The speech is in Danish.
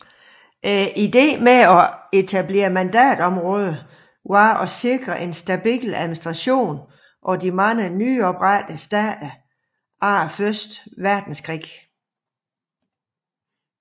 Ideen med at etablere mandatområder var at sikre en stabil administration af de mange nyoprettede stater efter første verdenskrig